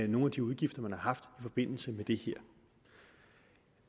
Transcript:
nogle af de udgifter man har haft i forbindelse med det her